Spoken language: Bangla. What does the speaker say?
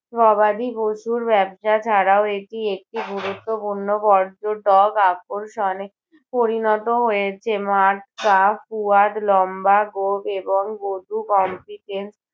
গবাদি পশুর ব্যবসা ছাড়াও এটি একটি গুরুত্বপূর্ণ পর্যটক আকর্ষণে পরিণত হয়েছে। লম্বা গোঁফ এবং